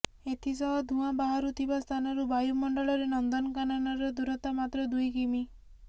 ଏଥିସହ ଧୂଆଁ ବାହାରୁଥିବା ସ୍ଥାନରୁ ବାୟୁ ମଣ୍ଡଳରେ ନନ୍ଦନକାନନର ଦୂରତା ମାତ୍ର ଦୁଇ କିମି